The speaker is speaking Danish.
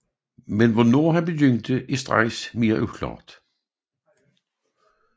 Men hvornår han begyndte er straks mere uklart